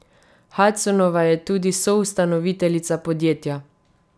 Hudsonova je tudi soustanoviteljica podjetja.